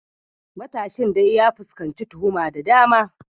Matashin dai ya fuskanci tuhuma da dama.